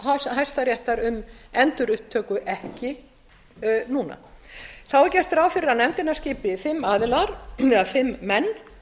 hæstaréttar um endurupptöku ekki núna þá er gert ráð fyrir að nefndina skipi fimm menn